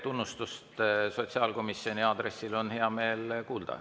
Tunnustust sotsiaalkomisjoni aadressil on hea meel kuulda.